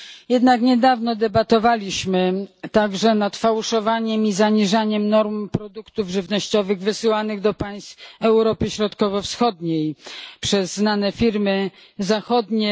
Jednak niedawno debatowaliśmy także nad fałszowaniem i zaniżaniem norm produktów żywnościowych wysyłanych do państw Europy Środkowo Wschodniej przez znane firmy zachodnie.